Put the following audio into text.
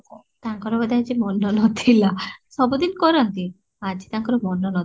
ତାଙ୍କର ଆଜି ବଢେ ମନ ନଥିଲା ସବୁଦିନ କରନ୍ତି ଆଜି ତାଙ୍କର ଆଜି ମନ ନଥିଲା